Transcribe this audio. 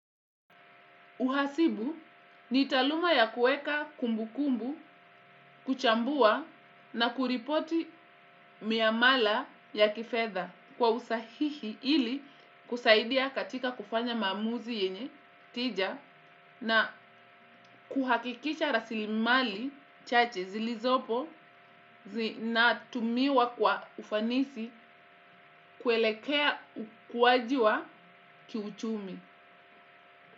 Uhasibu ni taaluma ya kuweka kumbukumbu, kuchambua na kuripoti miamala ya kifedha kwa usahihi ili kusaidia katika kufanya maamuzi yenye tija na kuhakikisha rasilimali chache zilizopo zinatumiwa kwa ufanisi kuelekea ukuaji wa kiuchumi.